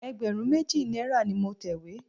Ẹgbẹ̀rún méjì náírà ni mo tẹ̀wé.